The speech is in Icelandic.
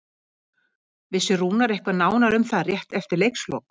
Vissi Rúnar eitthvað nánar um það rétt eftir leikslok?